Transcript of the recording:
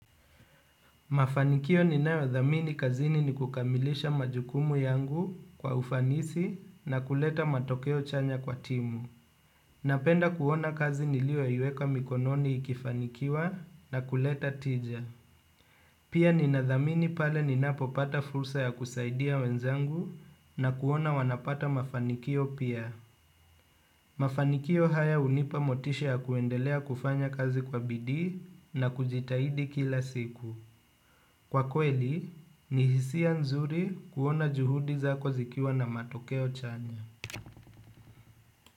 Mafanikio ninayoyathamini kazini ni kukamilisha majukumu yangu kwa ufanisi na kuleta matokeo chanya kwa timu. Napenda kuona kazi niliyoieka mikononi ikifanikiwa na kuleta tija. Pia ninathamini pale ninapopata fursa ya kusaidia wenzangu na kuona wanapata mafanikio pia. Mafanikio haya hunipa motisha ya kuendelea kufanya kazi kwa bidii na kujitahidi kila siku. Kwa kweli, ni hisia nzuri kuona juhudi zako zikiwa na matokeo chanya.